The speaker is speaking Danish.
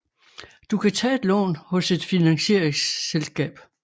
Du kan tage et lån hos et finansieringsselskab